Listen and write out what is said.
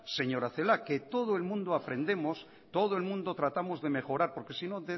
señora celaá que todo el mundo aprendemos todo el mundo tratamos de mejorar porque si no